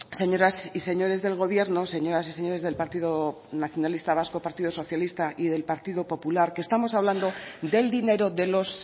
señoras y señores del gobierno señoras y señores del partido nacionalista vasco partido socialista y del partido popular que estamos hablando del dinero de los